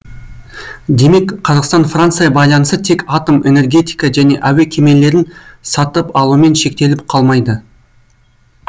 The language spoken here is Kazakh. демек қазақстан франция байланысы тек атом энергетика немесе әуе кемелерін сатып алумен шектеліп қалмайды